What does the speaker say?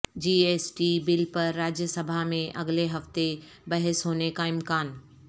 جی S T bill پر راجیہ سبھا میں اگلے ہفتے بحث ہونے کا امکان